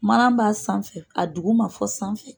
Mana b'a sanfɛ, a dugu ma fɔ sanfɛ